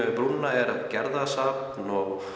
við brúna er Gerðarsafn